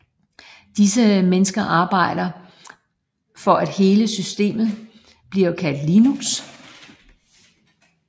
Disse mennesker arbejder for at hele systemet bliver kaldt Linux